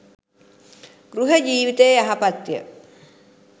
ගෘහ ජීවිතය යහපත්ය.